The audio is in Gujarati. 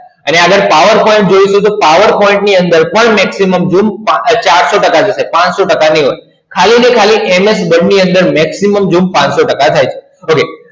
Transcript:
અને આગડ પાવર point જોયું તું તો maximum zoom ચારસો ટકા હતું પાનસો ટકા નય હોય ખાલી ને MS Word ની અંદર ખાલી maximum zoom પાનસો ટકા થાય છે